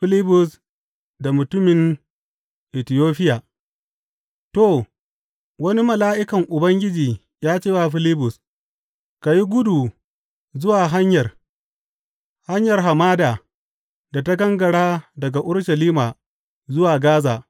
Filibus da mutumin Itiyofiya To wani mala’ikan Ubangiji ya ce wa Filibus, Ka yi kudu zuwa hanyar, hanyar hamada, da ta gangara daga Urushalima zuwa Gaza.